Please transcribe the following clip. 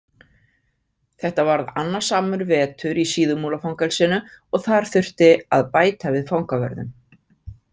Þetta varð annasamur vetur í Síðumúlafangelsinu og þar þurfti að bæta við fangavörðum.